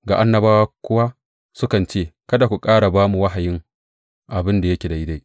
Ga annabawa kuwa sukan ce, Kada ku ƙara ba mu wahayin abin da yake daidai!